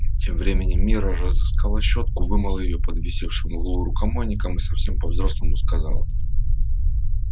тем временем мирра разыскала щётку вымыла её под висевшим в углу рукомойником и совсем по взрослому сказала